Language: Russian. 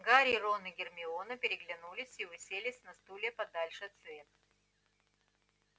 гарри рон и гермиона переглянулись и уселись на стулья подальше от света